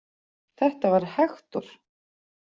Þetta var Hektor.